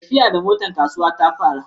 Tafiya da motar kasuwa ta fi araha.